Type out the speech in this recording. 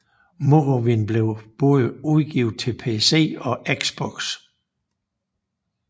Morrowind blev både udgivet til PC og Xbox